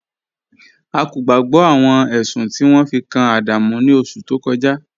A kò gbàgbọ̀ awọn ẹṣun ti won fi kan Adamu ni oṣù tó kọja